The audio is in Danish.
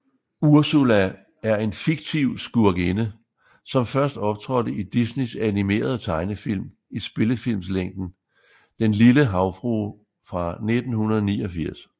Ursula er en fiktiv skurkinde som først optrådte i Disneys animerede tegnefilm i spillefilms længde Den lille havfrue fra 1989